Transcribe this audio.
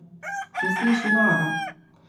Se sliši noro?